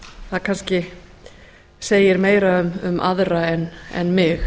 það kannski segir meira um aðra en mig